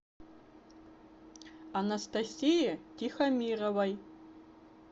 анастасии тихомировой